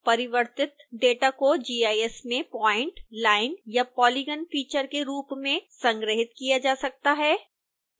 परिवर्तित डेटा को gis में प्वाइंट लाइन या पॉलीगन फीचर के रूप में संग्रहीत किया जा सकता है